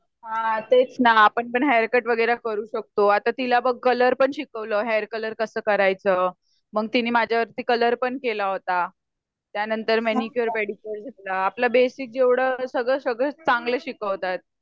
हा तेच ना आपण पण हेरकट वगैरे करू शकतो आता तिला बघ कलर पण शिकवल हेर कलर कस करायच मग तिने माझ्या वर कलर पण केला होता. त्यानंतर मेनीकुअर, पेडीकुअर शिकवला आपला बेसिक जेवड सगळं सगळं चांगलं शिकवतायेत